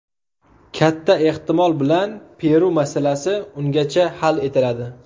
Katta ehtimol bilan Peru masalasi ungacha hal etiladi.